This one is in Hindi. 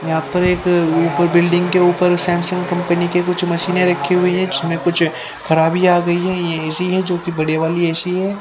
यहां पर एक उपर बिल्डिंग के उपर सैमसंग कंपनी के कुछ मशीने रखी हुई है जिसमे कुछ खराबी आ गयी है ये ए_सी है जो की बड़े वाली ए_सी है।